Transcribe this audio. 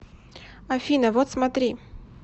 афина вот смотри